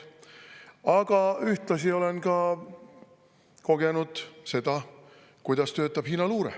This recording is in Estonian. Aga ühtlasi olen kogenud seda, kuidas töötab Hiina luure.